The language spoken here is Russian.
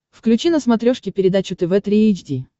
включи на смотрешке передачу тв три эйч ди